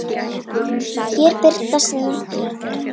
Hér birtast nokkrar þeirra.